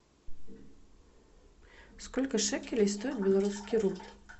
сколько шекелей стоит белорусский рубль